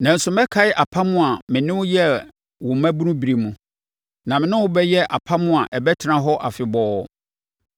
Nanso mɛkae apam a me ne wo yɛɛ wo mmabunu berɛ mu, na me ne wo bɛyɛ apam a ɛbɛtena hɔ afebɔɔ.